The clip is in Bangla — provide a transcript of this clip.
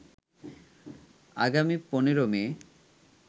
আগামী ১৫ মে